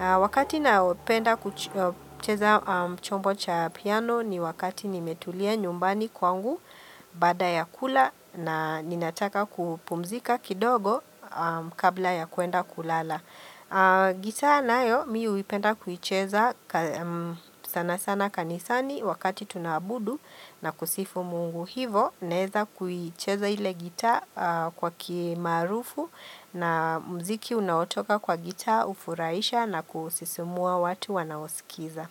Wakati na upenda kucheza chombo cha piano ni wakati nimetulia nyumbani kwangu baada ya kula na ninataka kupumzika kidogo kabla ya kwenda kulala. Gita nayo mi uipenda kuicheza sana sana kanisani wakati tuna abudu na kusifu mungu hivo Naweza kuicheza ile gitaa kwa umarufu na mziki unaotoka kwa gitaa ufuraisha na kusisimua watu wanaosikiza.